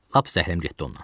Lap zəhləm getdi ondan.